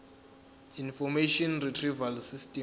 information retrieval system